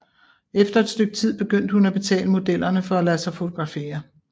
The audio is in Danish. Efter et stykke tid begyndte hun at betale modellerne for at lade sig fotografere